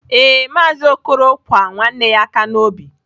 Ee, maazị okoro kwa nwanne ya aka n'obi.